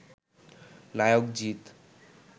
নায়ক জিত